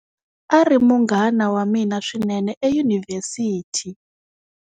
A ri munghana wa mina swinene eyunivhesiti.